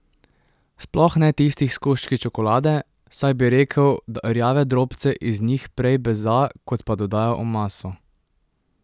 Sploh ne tistih s koščki čokolade, saj bi rekel, da rjave drobce iz njih prej beza kot pa dodaja v maso.